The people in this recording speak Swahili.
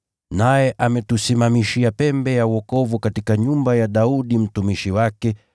Naye ametusimamishia pembe ya wokovu katika nyumba ya Daudi mtumishi wake,